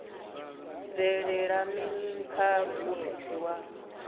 bvelela mini kha muofisi wa